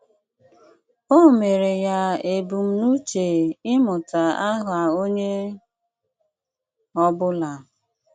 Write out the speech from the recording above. Ọ̀ mere ya ebumnuche ị́mụ́tà àhà onye ọ̀bụ̀là.